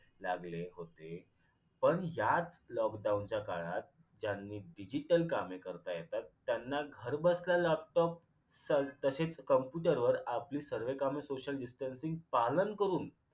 लागले होते lockdown च्या काळात ज्यांनी digital कामे करता येतात त्यांना घरबसल्या laptop तसेच computer वर आपली सर्व कामे social distancing पालन करून